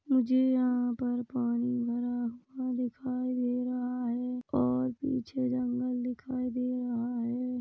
मुझे यहाँ पर पानी भरा हुआ दिखाई दे रहा है और पीछे जंगल दिखाई दे रहा है।